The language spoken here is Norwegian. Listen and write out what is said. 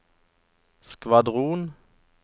skvadron